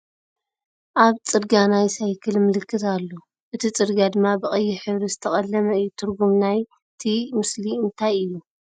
ኣብ ፅርግያ ናይ ሳይክል ምልክት ኣሎ እቲ ፅርግያ ድማ ብ ቀይሕ ሕብሪ ዝተቀለመ እዩ ። ትርጉም ናይቲ ምስሊ እንታይ እዩ ?